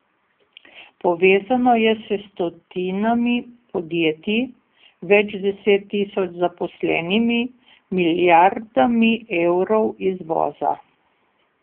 Povezano je s stotinami podjetij, več deset tisoč zaposlenimi, milijardami evrov izvoza.